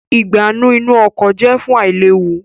Ìgbánú inú ọkọ̀ jẹ fún ailewu